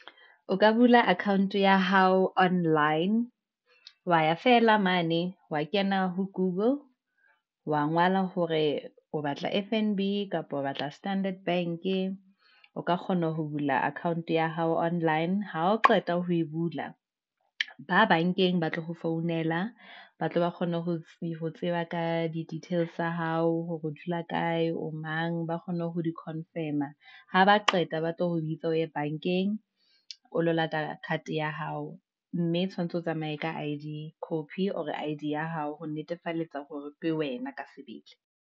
O ka bula account ya hao online, wa ya feela mane, wa kena ho google wa ngola hore o batla F_N_B, kapa o batla Standard Bank-e, o ka kgona ho bula account ya hao online, ha o qeta ho e bula ba bank-eng batle ho founela, ba tle ba kgone ho tseba ka di details tsa hao, hore o dula kae, o mang, ba kgone ho di-confirm-a, haba qeta ba tle ho bitsa o ye bank-eng, o lo lata card ya hao. Mme tshwantse o tsamaye ka I_D copy or I-D ya hao, ho netefalletsa hore ke wena ka sebele.